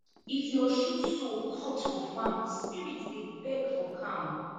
if your shoe sole cut for farm spirit dey beg for calm